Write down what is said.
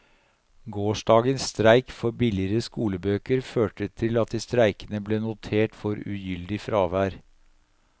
Gårsdagens streik for billigere skolebøker førte til at de streikende ble notert for ugyldig fravær.